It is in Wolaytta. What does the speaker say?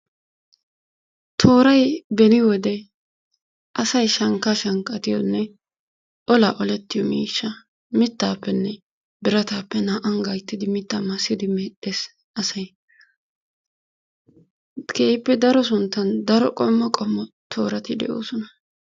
Tooray beni wode asay shankka shankkatiyo miishshiyonne ola olletiyo miishsha mittaa maassideinne biratappemedhdhees asay. keehippe daro qommo sunttan daro qommo toorati de'oosona.